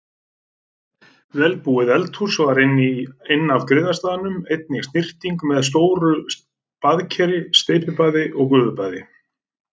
Vel búið eldhús var inn af griðastaðnum, einnig snyrting með stóru baðkeri, steypibaði og gufubaði.